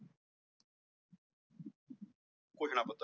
ਘੋਸ਼ਣਾ ਪੱਤਰ